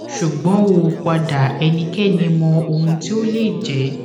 sugbon o pada ẹnikẹni mọ ohun ti o le jẹ